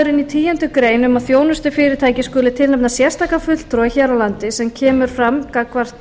áskilnaðurinn í tíundu greinar um að þjónustufyrirtæki skuli tilnefna sérstakan fulltrúa hér á landi sem kemur fram gagnvart